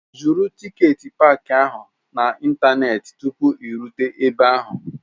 Zụrụ tiketi paaki ahụ n'ịntanetị tupu ị rute ebe ahụ!